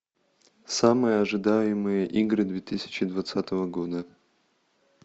самые ожидаемые игры две тысячи двадцатого года